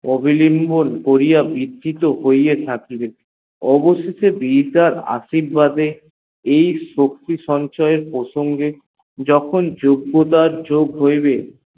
অবিলিঙ্গন করিয়া বিকহহীপত থাকিবে অবশেষে আশীর্বাদে এই শক্তি সঞ্চয় এর প্রসঙ্গে যখন যজ্ঞতার যোগ হইবে